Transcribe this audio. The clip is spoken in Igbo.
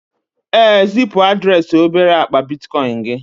ee, zipu adreesị obere akpa bitcoin gị